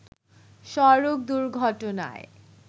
সড়ক দুর্ঘটনায়